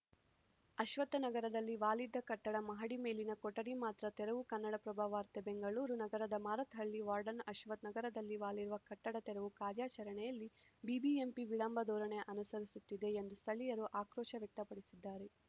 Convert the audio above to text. ಅಶ್ವತ್ಥನಗರದಲ್ಲಿ ವಾಲಿದ್ದ ಕಟ್ಟಡ ಮಹಡಿ ಮೇಲಿನ ಕೊಠಡಿ ಮಾತ್ರ ತೆರವು ಕನ್ನಡಪ್ರಭ ವಾರ್ತೆ ಬೆಂಗಳೂರು ನಗರದ ಮಾರತ್‌ ಹಳ್ಳಿ ವಾರ್ಡ್‌ನ ಅಶ್ವಥ್‌ ನಗರದಲ್ಲಿ ವಾಲಿರುವ ಕಟ್ಟಡ ತೆರವು ಕಾರ್ಯಾಚರಣೆಯಲ್ಲಿ ಬಿಬಿಎಂಪಿ ವಿಳಂಬ ಧೋರಣೆ ಅನುಸರಿಸುತ್ತಿದೆ ಎಂದು ಸ್ಥಳೀಯರು ಆಕ್ರೋಶ ವ್ಯಕ್ತಪಡಿಸಿದ್ದಾರೆ